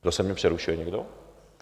Zase mě přerušil někdo?